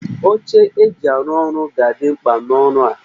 Oche eji arụ ọrụ ga-adị mkpa n'ọrụ a